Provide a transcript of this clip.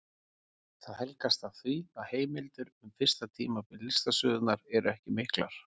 Það helgast af því að heimildir um fyrsta tímabil listasögunnar eru ekki miklar.